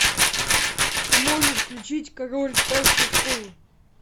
ты можешь включить король старшей школы